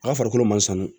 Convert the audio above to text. A ka farikolo ma sanu